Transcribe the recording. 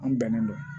An bɛnnen don